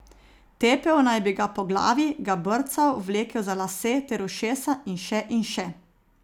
Tepel naj bi ga po glavi, ga brcal, vlekel za lase ter ušesa in še in še.